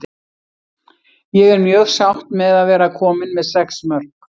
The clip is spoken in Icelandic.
Ég er mjög sátt með að vera komin með sex mörk.